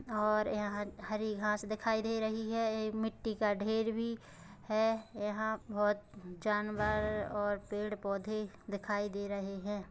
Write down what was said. और यहां हरे घास दिखाई दे रही हैं ये मिट्टी का ढेर भी है यहां बोहत जानवर और पेड़ पौधे दिखाई दे रहे हैं।